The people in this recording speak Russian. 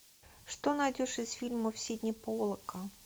что найдешь из фильмов сидни поллака